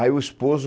Aí o esposo